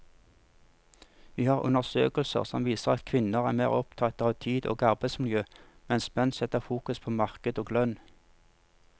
Vi har undersøkelser som viser at kvinner er mer opptatt av tid og arbeidsmiljø, mens menn setter fokus på marked og lønn.